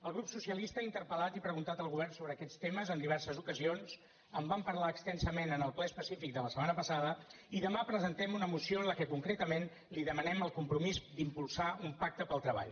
el grup socialista ha interpel·lat i preguntat al govern sobre aquests temes en diverses ocasions en vam parlar extensament en el ple específic de la setmana passada i demà presentem una moció en què concretament li demanem el compromís d’impulsar un pacte pel treball